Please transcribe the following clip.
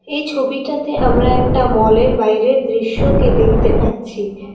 এই ছবিটাতে আমরা একটা মলের বাইরের দৃশ্যকে দেখতে পাচ্ছি।